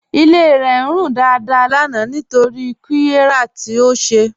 Ilé rẹ̀ ń rún dáadáà lánà nítorí qírẹ̀yà tí ó ṣè.